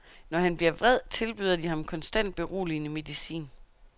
Når han bliver vred, tilbyder de ham konstant beroligende medicin.